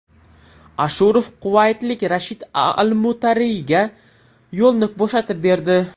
Ashurov quvaytlik Rashid Almutayriga yo‘lni bo‘shatib berdi.